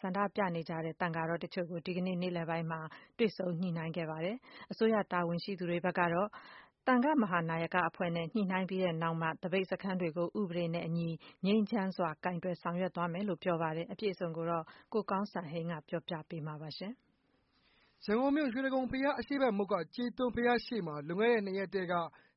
ဆန္ဒပြနေတဲ့ သံဃာတော်အချို့ ဒီကနေ့ နေ့လည်ပိုင်းမှာ တွေ့ဆုံ ညှိနှိုင်းခဲ့ပါတယ်။ အစိုးရ တာဝန်ရှိသူတွေကတော့ သပိတ်စခန်းတွေနဲ့ပတ်သက်ပြီး သံဃာ့မဟာနာယကအဖွဲ့နဲ့ ညှိနှိုင်းပြီးမှ ဥပဒေအတိုင်းငြိမ်းချမ်းစွာ လုပ်ဆောင်သွားမယ် လို့ပြောပါတယ်။ အပြည့်အစုံ ကိုတော့ ကိုကောင်းစံဟိန်းက ပြောပြပေးမှာပါ။ ရန်ကုန်မြို့ ရွှေတိဂုံဘရား အရှေ့ဘက်မုခ်က ကြေးသွန်း ဘုရားရှေ့မှာ လွန်ခဲ့တဲ့ ၂ရက်တည်းက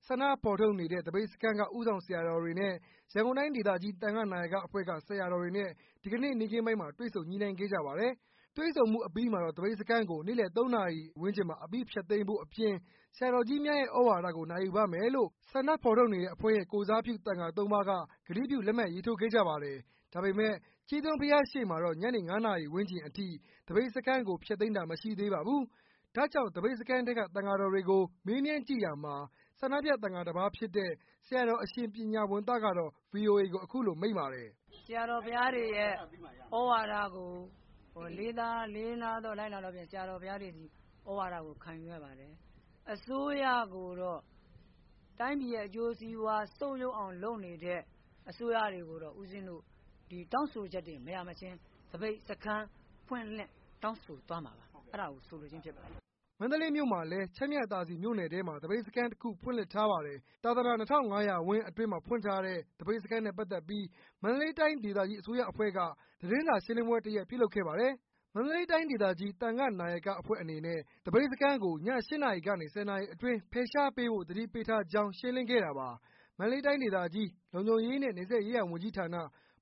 ဆန္ဒဖော်ထုတ်နေတဲ့သပိတ်စခန်းက ဦးဆောင်ဆရာတော်တွေနဲ့ ရန်ကုန်တိုင်းဒေသကြီး သံဃနာယကအဖွဲ့က ဆရာတော်တွေနဲ့ တွေ့ဆုံ ညှိနှိုင်းခဲ့ကြ ပါတယ်။ တွေ့ဆုံမှုအပီးမှာတော့ သပိတ်စခန်းကို နေ့လည် ၃နာရီဝန်းကျင်မှာ အပြီးဖျက်သိမ်းဖို့အပြင် ဆရာတော်ကြီးများရဲ့သြဝါဒကို နာယူပါမယ်လို့ ဆန္ဒဖော်ထုတ်တဲ့အဖွဲ့ရဲ့ ကိုယ်စားပြုသံဃာ၃ပါးက ကတိပြု လက်မှတ်ရေးထိုးခဲ့ကြပါတယ်။ ဒါပေမဲ့ကြေးသွန်းဘုရားရှေ့မှာတေ့ာ ညနေ ၅နာရီဝန်းကျင်အထိ သပိတ်စခန်းကို ဖျက်သိမ်းတာ မရှိသေးပါဖူး။ ဒါ့ကြောင့် သပိတ်စခန်းထဲက သံဃာတော်တွေကို မေးမြန်းကြည့်ရာမှာ ဆန္ဒပြသံဃာတစ်ပါးဖြစ်တဲ့ ဆရာတေ်ာ အရှင်ပညာဝံသတော့ VOA ကိုအခုလို မိန့်ပါတယ်။ "ဆရာတော်ဘုရားတွေရဲ့ သြဝါဒကို လေးစားလိုက်နာသောအားဖြင့် ဆရာတော်တွေရဲ့သြဝါဒကို ခံယူရပါတယ်။ အစိုးရကိုတော့ တိုင်းပြည်ရဲ့အကျိုးစီးပွား ဆုတ်ယုတ်အောင် လုပ်နေတဲ့ုးရကိုတော့ ဦးဇင်းတို့ တောင်းဆိုချက်တွေမချင်း သပိတ်စခန်းဖွင့်လှစ်တောင်းဆိုသွားမှာပါ အဲ့တာကို ဆိုလိုခြင်းဖြစ်ပါတယ်။" မန္တလေးမြို့မှာလည်း ချမ်းမြသာစည်မြို့နယ်ထဲမှာ သပိတ်စခန်းတခု ဖွင့်လှစ် ထားပါတယ်။ သာသနာ၂၅၀၀ ဝင်းအတွင်းမှာ ဖွင့်ထားတဲ့ သပိတ်စခန်းနဲ့ပတ်သက်ပြီး မန္တလေးတိုင်းဒေသကြီး အစိုးရအဖွဲ့က သတင်းစာ ရှင်းလင်းပွဲတရပ်ပြုလုပ်ခဲ့ပါတယ်။ မန္တလေးတိုင်းဒေသကြီး သံဃနာယကအဖွဲ့အနေနဲ့ သပိတ်စခန်းကို ည ၈နာရီ ကနေ ၁၀နာရီအတွင်းဖယ်ရှားပေးဖို့ သတိပေးထားကြောင်း ရှင်းလင်းခဲ့တာပါ။ မန္တလေးတိုင်းဒေသကြီး လုံခြုံရေးနဲ့ နယ်စပ်ရေးရာဝန်ကြီးဌာန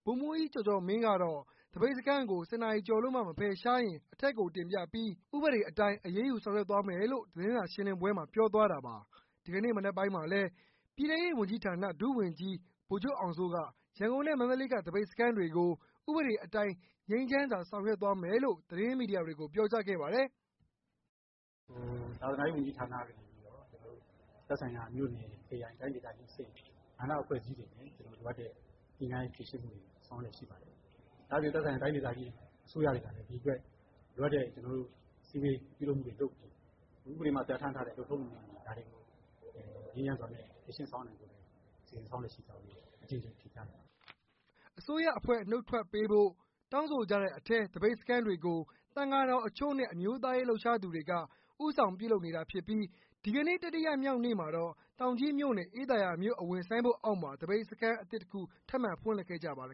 ဗိုလ်မှူးကြီးကျော်ကျော်မင်း ကတော့ သပိတ်စခန်းကို ၁၀နာရီကျော်လို့မှ မဖယ်ရှားရင် အထက်ကိုတင်ပြပီး ဥပဒေအတိုင်း အရေးယူဆောင်ရွက်သွားမယ်လို့ သတင်းစာရှင်းလင်းပွဲမှာပြောသွားတာပါ။ ဒီကနေ့မနက်ပိုင်းမှာလည်း ပြည်ထဲရေးဝန်ကြီးဌာန ဒုဝန်ကြီးဗိုလ်ချုပ်အောင်စိုးက ရန်ကုန်နဲ့ မန္တလေးက သပိတ်စခန်းတွေကို ဥပဒေအတိုင်း ငြိမ်းချမ်းစွာဆောင်ရွက်သွားမယ်လို့ သတင်းမီဒီယာတွေကိုပြောကြားခဲ့ပါတယ်။ " သာသနာရေးဝန်ကြီးဌာနကနေပြီးတော့ သက်ဆိုင်ရာမြို့နယ် တိုင်းဒေသကြီးအဆင့် သံဃာ့အဖွဲ့တွေနဲ့ ညှိနှိုင်းဖြေရှင်းဆောင်ရွက်မှုတွေရှိပါတယ်။ ဒါ့အပြင် တိုင်းဒေသကြီးအစိုးရတွေကလည်း ဒီအတွက် လိုအပ်တဲ့အစည်းအဝေးတွေ ပြုလုပ်နေပါတယ်။ ဥပဒေအရလုပ်ထုံးလုပ်နည်းတွေနဲ့အတူ ဒါတွေကို ငြိမ်းချမ်းစွာဖြေရှင်းသွားနိုင်ဖို့ စီစဉ်ဆောင်ရွက်လျက်ရှိပါတယ်။" အစိုးရအဖွဲ့နှုတ်ထွက်ပေးဖို့ တောင်းဆိုကြတဲ့အထဲ သပိတ်စခန်းတွေကို သံဃာတော်အချို့နဲ့ အမျိုးသားရေးလှုပ်ရှားသူတွေက ဦးဆောင်ပြုလုပ်နေတာဖြစ်ပီး ဒီကနေ့ တတိယမြောက်နေ့မှာတော့ တောင်ကြီးမြို့နယ် အေးသာယာမြို့အဝင် ဆိုင်းဘုတ်အောက်မှာ သပိတ်စခန်းထပ်မံ ဖွင့်လှစ်ခဲ့ကြပါတယ်